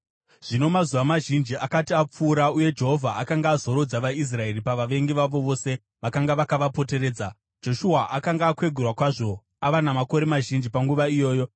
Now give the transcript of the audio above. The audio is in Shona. Zvino mazuva mazhinji akati apfuura uye Jehovha akanga azorodza vaIsraeri pavavengi vavo vose vakanga vakavapoteredza, Joshua akanga akwegura kwazvo ava namakore mazhinji panguva iyoyo.